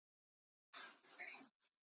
MEÐ HEIFTINNI EINNI SAMAN